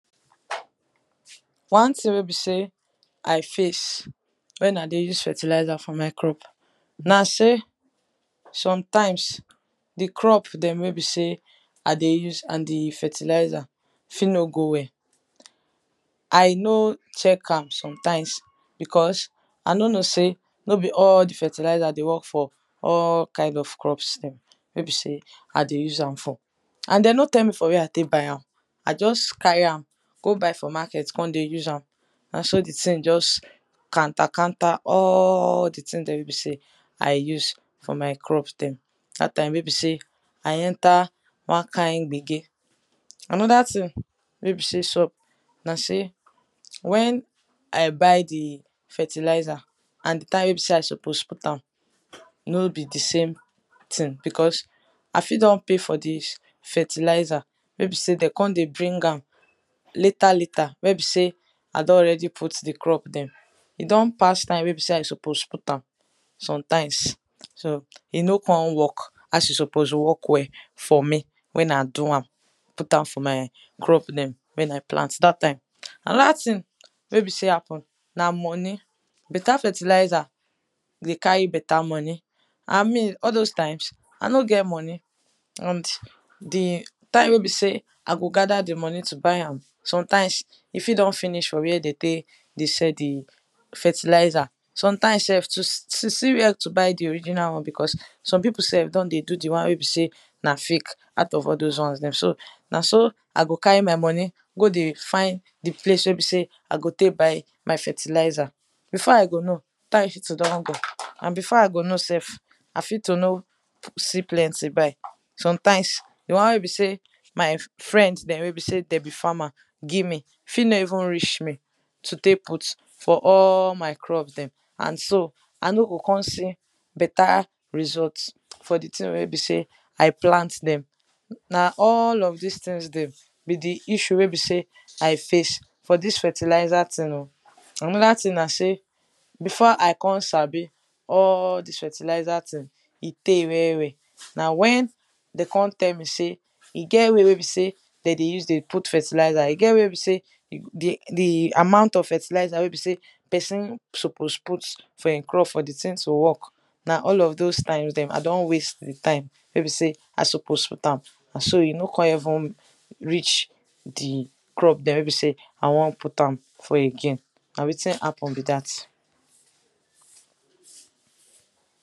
one thing wen be sey i face wen i dey use fertilizer for my crops na sey sometimes di crop dem wen be sey i dey use and di fertilizer fit no go well i no check am sometimes because i noo know sey no be all di fertilizer dey work for all kind of crops dem wey be sey i dey use am for and den no tell me for where i tek buy am i just carry am go buy for market kon dey use am na so di thing just kanta kanta all di thing there wey be sey i use for my crop dem dat time wey be sey i enter wan kind gbege. anoda thing wey be sey sup na sey wen i buy di fertilizer and di time wey be sey i suppose put am no be di same thing because i fit don pay for dis fertilizer wey be sey de kon dey bring am later later wey be sey i don already put di crop dem. e don pass time wey be sey i suppose put am sometimes so e no kon work as e suppose work well for me wen i do am put am for my crop den wen i plant dat time. anoda thing wey be sey happen, na moni. beter fertilizer dey carry beta moni and me all those time, i no get moni and di time wey be sey i go gather di moni to buy am sometimes e fit don finish for where de tek dey sell di fertilizer. sometimes sef to see where to buy di original one because some pipul self don dey do di won wey be sey na fake out of all those wons dem so na so i go carry my moni go dey find di place wey be sey i go tey buy my fertilizer. before i go know, time fit don go and before i go know self, i fit to no see plnty buy. sometimes di won wey be sey my friends dem wey be sey de be farmer give me fit no even reach me to take put for all my crop dem and so i no go kon see beta result for di thing wen be sey i plant dem. na all of dis thing dem be di issue wen be sey I face for this fertilizer thing o. anda thing nah sey before i kon sabi all dis fertilizer thing e tey well well. na wen de kon tell me sey e get way wey be sey de dey use dey put fertilizer, e get where be sey di amount of fertilizer wey be sey pesin suppose put for in crop for di thing to work na one of those time dem wey be sey i don waste di time wey be sey i suppose put am nah so e no kon even reach di crop dem wey be sey i won put am for again na wetin happen be dat